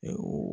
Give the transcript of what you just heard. Ee